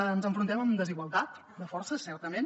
ens enfrontem amb desigualtat de forces certament